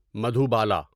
Madhubala